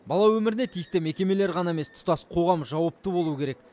бала өміріне тиісті мекемелер ғана емес тұтас қоғам жауапты болу керек